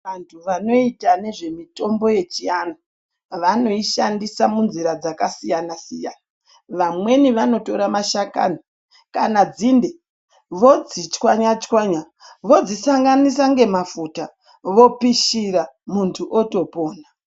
Vantu vanoyita nezvemitombo yechianhu, vanoyishandisa munzira dzakasiyana-siyana, vamweni vanotora mashakani kana dzinde vodzichwanyachwanya, vodzisanganisa ngemafuta, vopishira muntu otopona.